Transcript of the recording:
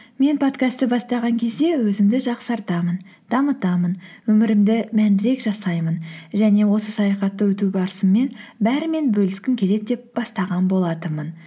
мен подкастты бастаған кезде өзімді жақсартамын дамытамын өмірімді мәндірек жасаймын және осы саяхатты өту барысымен бәрімен бөліскім келеді деп бастаған болатынмын